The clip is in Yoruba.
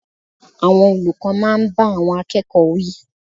Àwọn olùkọ́ máa ń bá àwọn akẹ́kọ̀ọ́ wí.